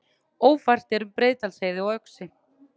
Ófært er um Breiðdalsheiði og Öxi